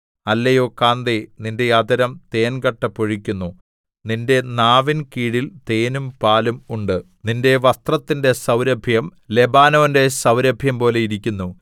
അല്ലയോ കാന്തേ നിന്റെ അധരം തേൻകട്ട പൊഴിക്കുന്നു നിന്റെ നാവിൻ കീഴിൽ തേനും പാലും ഉണ്ട് നിന്റെ വസ്ത്രത്തിന്റെ സൗരഭ്യം ലെബാനോന്റെ സൗരഭ്യം പോലെ ഇരിക്കുന്നു